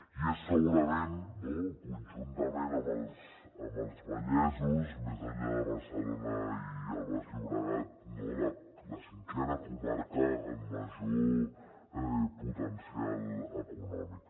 i és segurament conjuntament amb els vallesos més enllà de barcelona i el baix llobregat la cinquena comarca amb major potencial econòmic